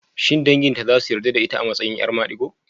Shin danginta za su yarda da ita a matsayin 'yar madigo?